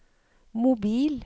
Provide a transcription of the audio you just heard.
mobil